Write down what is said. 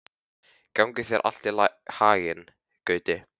Gangi þér allt í haginn, Gauti.